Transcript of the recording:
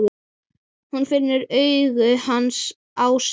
Hún finnur augu hans á sér.